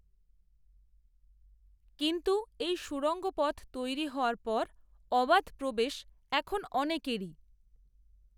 কিন্ত্ত এই সুড়ঙ্গ পথ তৈরি হওয়ার পর অবাধ প্রবেশ এখন অনেকেরই